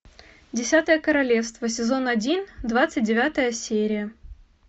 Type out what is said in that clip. десятое королевство сезон один двадцать девятая серия